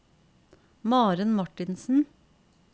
Maren Martinsen